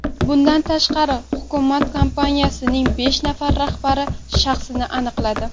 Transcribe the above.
Bundan tashqari, hukumat kompaniyaning besh nafar rahbari shaxsini aniqladi.